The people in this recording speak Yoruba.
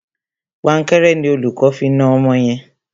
Pankẹ́rẹ́ ni olùkó fi na ọmọ yẹn.